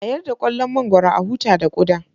A yarda ƙullon mangwaro, a huta da ƙuda